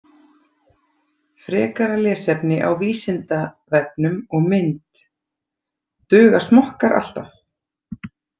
Frekara lesefni á Vísindavefnum og mynd Duga smokkar alltaf?